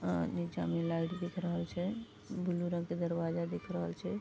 अ नीचा में लाइट दिख रहल छै ब्लू रंग के दरवाजा दिख रहल छै।